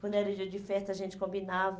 Quando era dia de festa, a gente combinava.